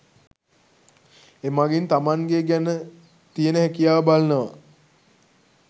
එමගින් තමන්ගේ ගැන තියන හැකියාව බලනවා